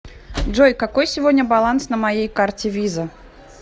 джой какой сегодня баланс на моей карте виза